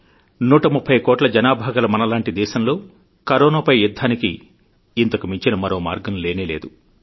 130 కోట్ల జనాభా గల మనలాంటి దేశంలో కరోనా పై యుద్ధానికి ఇంతకుమించిన మరోమార్గం లేనేలేదు